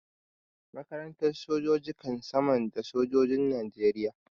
Makarantar sojoji kan samar da sojojin Najeriya.